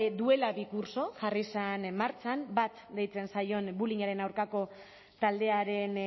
duela bi kurtso jarri zen martxan bat deitzen zaion bullyingaren aurkako taldearen